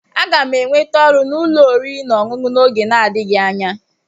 Aga m enweta ọrụ n'ụlọ oriri na ọṅụṅụ n'oge na-adịghị anya.